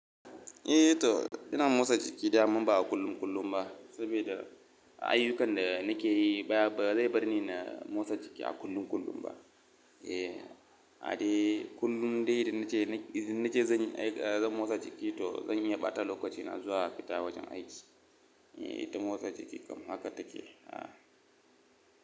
Eh to ina motsa jiki dama ba a kullum kullum ba, saboda ayyukan da nake yi ba zai bar ni na motsa jiki a kullum kullum ba. Eh, a dai kullun dai idan nace nace zan yi, zan motsa jiki to zan yi bata lokaci na zuwa fita wajen aiki. Eh ta motsa jiki kam haka take. Ah.